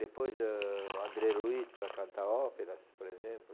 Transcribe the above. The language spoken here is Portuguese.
Depois, eh, André Luiz para cantar óperas, por exemplo.